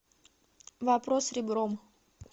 вопрос ребром